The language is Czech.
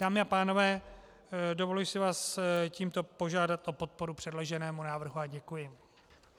Dámy a pánové, dovoluji si vás tímto požádat o podporu předloženému návrhu a děkuji.